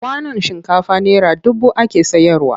Kwanon shinkafa naira dubu ake sayarwa.